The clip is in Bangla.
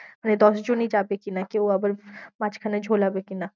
মানে দশজনই যাবে কি না? কেউ আবার মাঝখানে ঝোলাবে কি না।